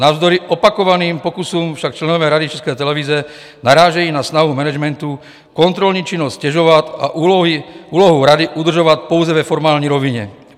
Navzdory opakovaným pokusům však členové Rady České televize narážejí na snahu managementu kontrolní činnost ztěžovat a úlohu Rady udržovat pouze ve formální rovině.